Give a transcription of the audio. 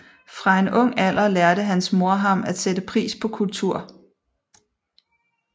Fra en ung alder lærte hans mor ham at sætte pris på kultur